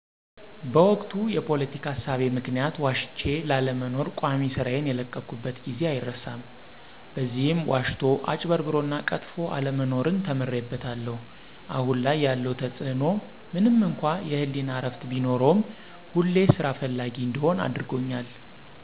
በወቅቱ የፖለቲካ እሳቤ ምክንያት ዋሽቼ ላለመኖር ቋሚ ስራዬን የለቀቅኩበት ጊዜ አይረሳም። በዚህም ዋሽቶ፣ አጭበርብሮና ቀጥፎ አለመኖርን ተምሬበታለሁ። አሁን ላይ ያለው ተፅእኖ ምንም እንኳ የህሌና እረፍት ቢኖርም ሁሌም ስራ ፈላጊ እንድሆን አድርጎኛል።